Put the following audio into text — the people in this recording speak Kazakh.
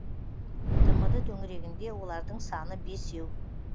тмд төңірегінде олардың саны бесеу